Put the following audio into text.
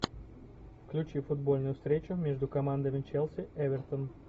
включи футбольную встречу между командами челси эвертон